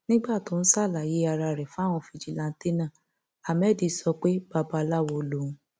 nígbà tó ń ṣàlàyé ara ẹ fáwọn fijilantànté náà ahmed sọ pé babaláwo lòun